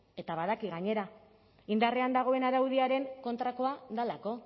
eta badaki gainera indarrean dagoen araudiaren kontrakoa delako